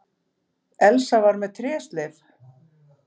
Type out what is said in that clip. Elsa var með trésleif.